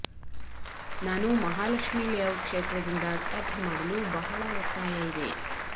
ನಾನು ಮಹಾಲಕ್ಷ್ಮಿ ಲೇಔಟ್ ಕ್ಷೇತ್ರದಿಂದ ಸ್ಪರ್ಧೆ ಮಾಡಲು ಬಹಳ ಒತ್ತಾಯ ಇದೆ